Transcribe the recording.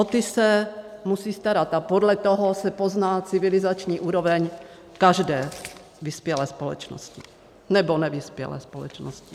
O ty se musí starat a podle toho se pozná civilizační úroveň každé vyspělé společnosti, nebo nevyspělé společnosti.